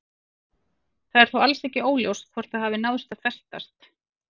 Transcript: Það er þó alls óljóst hvort það hafi náð að festast.